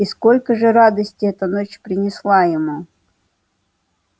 и сколько же радости эта ночь принесла ему